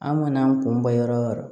An mana an kun ba yɔrɔ o yɔrɔ